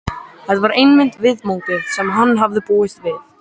Þetta var einmitt viðmótið sem hann hafði búist við.